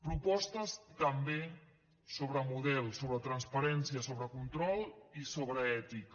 propostes també sobre model sobre transparència sobre control i sobre ètica